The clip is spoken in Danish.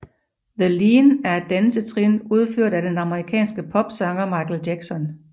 The Lean er et dansetrin udført af den amerikanske popsanger Michael Jackson